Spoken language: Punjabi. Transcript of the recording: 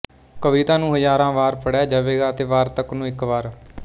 ਕਵਿਤਾ ਨੂੰ ਹਜ਼ਾਰਾਂ ਵਾਰ ਪੜ੍ਹਿਆ ਜਾਵੇਗਾ ਅਤੇ ਵਾਰਤਕ ਨੂੰ ਇੱਕ ਵਾਰ